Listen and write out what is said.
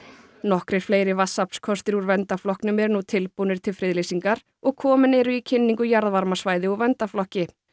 nokkrir fleiri vatnsaflskostir úr verndarflokknum eru nú tilbúnir til friðlýsingar og komin eru í kynningu jarðvarmasvæði úr verndarflokki